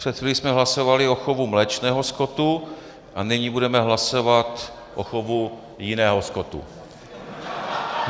Před chvílí jsme hlasovali o chovu mléčného skotu a nyní budeme hlasovat o chovu jiného skotu.